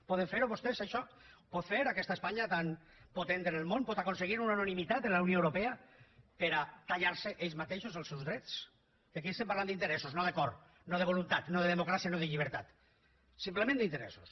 poden fer ho vostès això ho pot fer aquesta espanya tan potent en el món pot aconseguir una unanimitat en la unió europea per a tallar se ells mateixos els seus drets que aquí estem parlant d’interessos no de cor no de voluntat no de democràcia no de llibertat simplement d’interessos